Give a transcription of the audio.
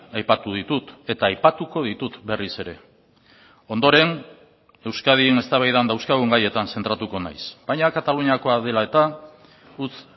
aipatu ditut eta aipatuko ditut berriz ere ondoren euskadin eztabaidan dauzkagun gaietan zentratuko naiz baina kataluniakoa dela eta utz